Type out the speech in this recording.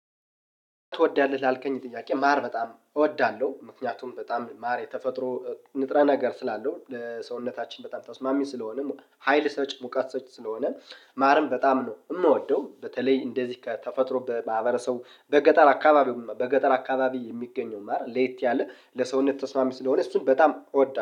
ትወዳለህ ላልከኝ ጥያቄ ማር በጣም እወዳለሁ ምክንያቱም በጣም ማር የተፈጥሮ ንጥረ ነገር ስላለው ሰውነታችን በጣም ታውስማሚን ስለሆነም ሀይል ሰጭ ሙቀት ሰጭ ስለሆነን ማርም በጣም ነው የምወደው። በተለይ እንደዚህ ከተፈጥሮ በማህበረሰቡ በገጠር አካባቢው በገጠር አካባቢ የሚገኘው ማር ለየት ያለ ለሰውነት ተስማሚ ስለሆነ እሱን በጣም እወዳለሁ